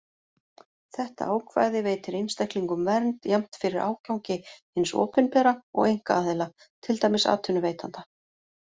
Þetta ákvæði veitir einstaklingum vernd jafnt fyrir ágangi hins opinbera og einkaaðila, til dæmis atvinnuveitanda.